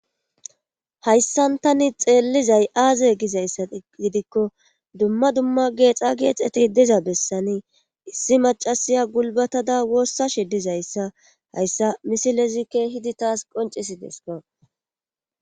hayssan tani xeellizay aaze gizayssa gidikko dumma dumma geexa geexeti diza bessanii issi macasiya gulbatada woossashe dizayssa hayssa misilezi keehidi taas qoncisidesko.